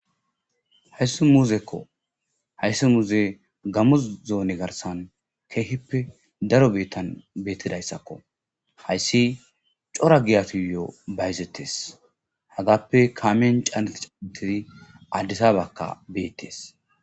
Haysi muzeko haysi muze gamo zone garsan kehipe daro bitan betidaysakko haysi c'ora giyatuyo bayzetes hagppe kamiyan c'aneti c'aneti adisabaka bees.